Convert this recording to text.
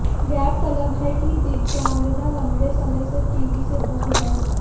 गौरतलब है कि दिगांगना लंबे समय से टीवी से दूर हैं